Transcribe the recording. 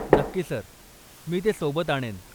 नक्की सर, मी ते सोबत आणेन.